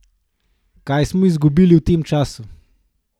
Kaj smo izgubili v tem času?